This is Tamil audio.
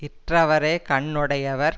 கற்றவரே கண் உடையவர்